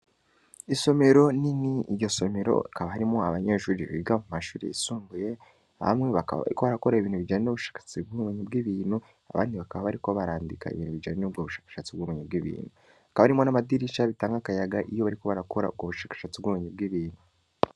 Isomero nini, iryo somero hakaba harimwo abanyeshuri biga mu mashuri yisumbuye, bamwe bakaba bariko barakora ibintu bijanye n'ubushakashatsi bw'ubumenyi bw'ibintu, abandi bakaba bariko barandika ibintu bijanye n'ubwo bushakashatsi bw'ubumenyi bw'ibintu; hakaba harimwo n'amadirisha, bitanga akayaga iyo bariko barakora ubwo bushakashatsi bw'ubumenyi bw'ibintu.